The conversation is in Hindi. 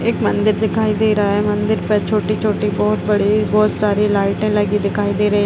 एक मंदिर दिखाई दे रहा है। मंदिर पर छोटी-छोटी बोहोत बड़ी बोहोत सारी लाइटे लगी दिखाई दे रही --